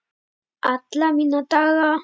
Alla mína daga.